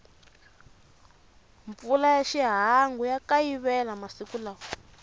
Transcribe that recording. mpfula ya xihangu ya kayivela masiku lawa